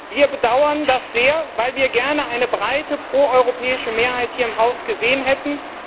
Wir bedauern das sehr, weil wir gerne eine breite pro europäische Mehrheit hier im Haus gesehen hätten.